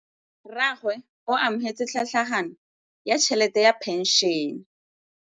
Rragwe o amogetse tlhatlhaganyô ya tšhelête ya phenšene.